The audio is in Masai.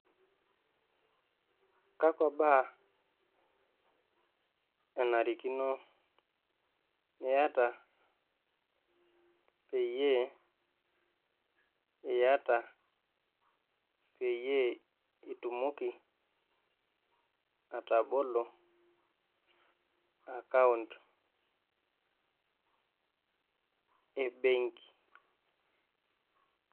Kakwa baa enarikino niata peyie iyata peyie itumoki atobolo akaont e mbenki?